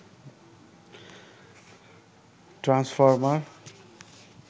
transformer